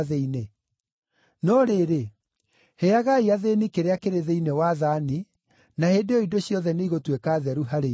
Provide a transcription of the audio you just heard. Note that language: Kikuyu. No rĩrĩ, heagai athĩĩni kĩrĩa kĩrĩ thĩinĩ wa thaani, na hĩndĩ ĩyo indo ciothe nĩigũtuĩka theru harĩ inyuĩ.”